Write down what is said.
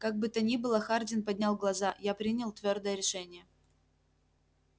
как бы то ни было хардин поднял глаза я принял твёрдое решение